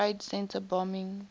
trade center bombing